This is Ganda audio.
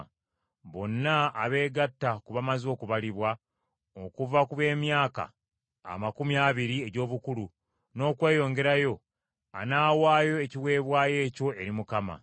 Bonna abeegatta ku bamaze okubalibwa, okuva ku b’emyaka amakumi abiri egy’obukulu, n’okweyongerayo, anaawaayo ekiweebwayo ekyo eri Mukama .